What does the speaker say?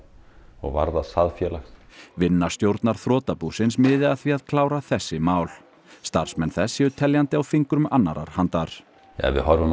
og varðar það félag vinna stjórnar þrotabúsins miði að því að klára þessi mál starfsmenn þess séu teljandi á fingrum annarrar handar ef við horfum á